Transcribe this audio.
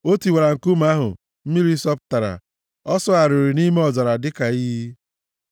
O tiwara nkume ahụ, mmiri sọpụtara; ọ sọgharịrị nʼime ọzara dịka iyi.